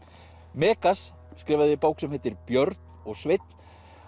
Megas skrifaði bók sem heitir Björn og Sveinn